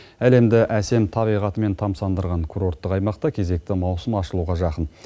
әлемді әсем табиғатымен тамсандырған курорттық аймақта кезекті маусым ашылуға жақын